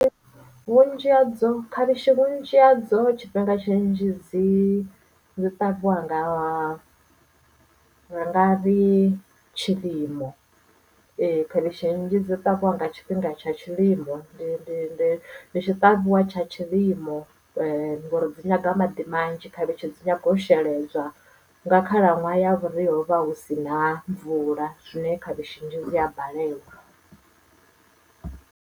Vhunzhi hadzo khavhishi vhunzhi hadzo tshifhinga tshinzhi dzi dzi ṱavhiwa nga ha ngari tshilimo khavhishi nnzhi dzi ṱavhiwa nga tshifhinga tsha tshilimo ndi tshi ṱavhiwa tsha tshilimo ngori dzi nyanga maḓi manzhi khavhishi dzi nyaga u sheledzwa nga khalaṅwaha ya vhuria hu vha hu si na mvula zwine khavhishi nnzhi dzi a balelwa.